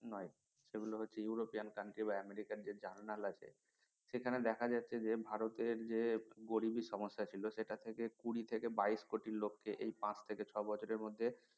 নয় সেগুলো হচ্ছে ইউরোপিয়ান country বা আমেরিকান যে journal আছে সেখানে দেখা যাচ্ছে যে ভারতের যে গরিবি সমস্যা ছিল সেটা থেকে কুড়ি থেকে বাইশ কোটি লোক কে এই পাঁচ থেকে ছয় বছরের মধ্যে